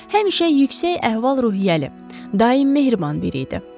Həmişə yüksək əhval-ruhiyyəli, daim mehriban biri idi.